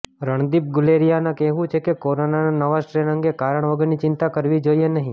રણદીપ ગુલેરીયાનું કહેવું છે કે કોરોનાના નવા સ્ટ્રેન અંગે કારણ વગરની ચિંતા કરવી જોઇએ નહી